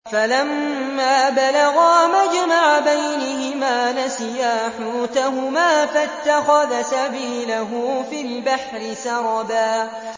فَلَمَّا بَلَغَا مَجْمَعَ بَيْنِهِمَا نَسِيَا حُوتَهُمَا فَاتَّخَذَ سَبِيلَهُ فِي الْبَحْرِ سَرَبًا